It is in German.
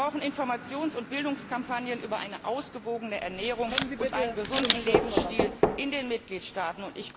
Wir brauchen Informations und Bildungskampagnen über eine ausgewogene Ernährung und einen gesunden Lebensstil in den Mitgliedstaaten.